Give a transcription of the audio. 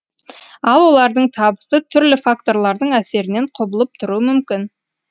ал олардың табысы түрлі факторлардың әсерінен құбылып тұруы мүмкін